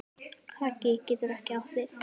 Haki getur átt við